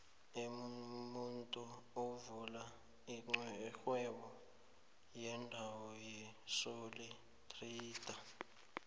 umuntu uvula ixhwebo yedwa yisoli trayida